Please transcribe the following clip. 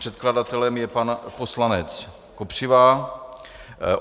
Předkladatelem je pan poslanec Kopřiva.